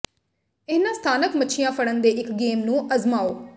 ਇਨ੍ਹਾਂ ਸਥਾਨਕ ਮੱਛੀਆਂ ਫੜਨ ਦੇ ਇੱਕ ਗੇਮ ਨੂੰ ਅਜ਼ਮਾਓ